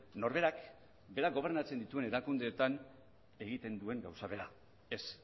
norberak berak gobernatzen dituen erakundeetan egiten duen gauza bera ez